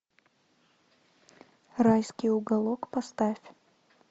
райский уголок поставь